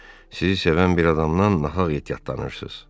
Sizi sevən bir adamdan nahaq ehtiyatlanırsız.